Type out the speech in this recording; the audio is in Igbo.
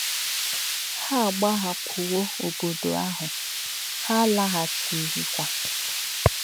Ha agbahapụwo obodo ahụ, ha alaghachighịkwa.